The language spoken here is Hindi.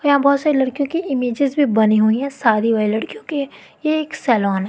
यहां बहोत सारे लड़कियों के इमेजेस भी बनी हुई हैं साड़ी वाली लड़कियों के ये एक सैलॉन है।